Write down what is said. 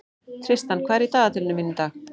Tristan, hvað er í dagatalinu mínu í dag?